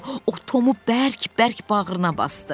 O Tomu bərk-bərk bağrına basdı.